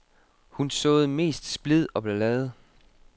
Hun såede mest splid og ballade.